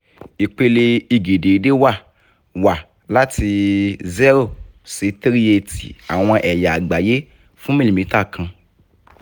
ipele ige deede wa wa lati zero si three eighty awọn ẹya agbaye fun milimita kan